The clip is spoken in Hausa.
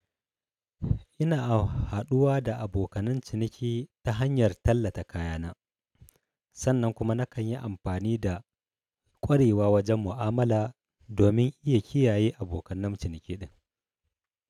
Ina haɗuwa da abokanan ciniki ta hanyar tallata kayana. Sannan kuma nakan yi amfani da ƙwarewa wajen mu'amala domin iya kiyaye abokanan ciniki ɗin.